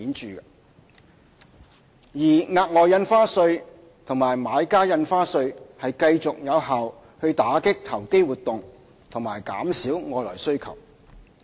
至於額外印花稅和買家印花稅則繼續有效打擊投機活動和減少外來需求。